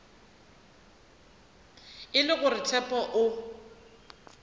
e le gore tshepo o